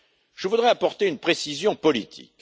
Je voudrais apporter une précision politique.